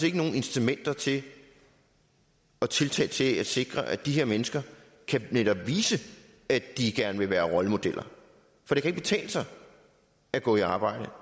ikke nogen incitamenter til og tiltag til at sikre at de her mennesker netop kan vise at de gerne vil være rollemodeller for det kan ikke betale sig at gå i arbejde